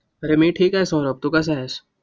अरे मी ठिक आहे सौरभ. तू कसा आहेस?